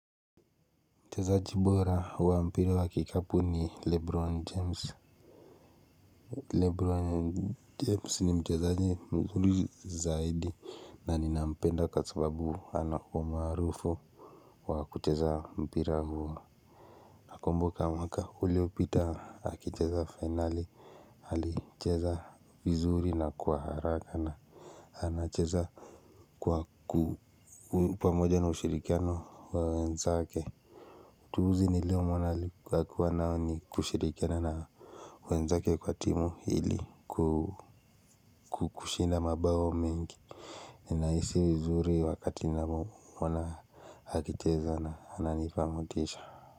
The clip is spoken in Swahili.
Mchezaji bora wa mpira wa kikapu ni lebron james Lebron james ni mchezaji mzuri zaidi na ni nampenda kwasababu ana umaarufu wa kucheza mpira huu nakumboka mwaka ulio pita akicheza finali ali cheza vizuri na kwa haraka na ana cheza kwa ku moja na ushirikiano na wenzake juzi nilimwona alikuwa akishirikiana na wenzake kwa timu ili kushinda mabao mengi nina hisi vizuri wakati ninaona akicheza na ananipa motisha.